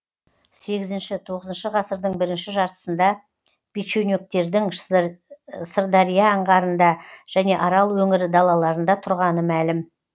сегізінші тоғызыншы ғасырдың бірінші жартысында печенегтердің сырдария анғарында және арал өңірі далаларында тұрғаны мәлім